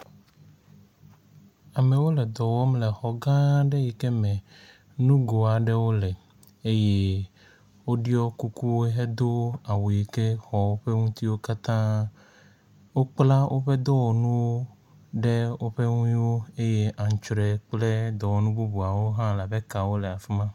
Amewo le dɔ wɔm le xɔ gã ɖe yike me nugo aɖewo le eye woɖɔ kuku hedo awu yi ke xɔ ƒe ŋutiwo katã. Wokpla woƒe dɔwɔnuwo ɖe woƒe nu woe eye antrɔe kple dɔwɔnu bubuawo hã la be kawo hã le afi ma.